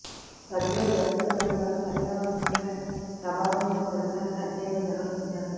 చంద్రుడి దశలు దాని వల్ల పర్యావరణంపై ప్రభావం గురించి తొలిసారిగా అధ్యయనం నిర్వ హించారు